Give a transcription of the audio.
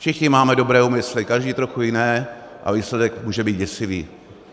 Všichni máme dobré úmysly, každý trochu jiné, a výsledek může být děsivý.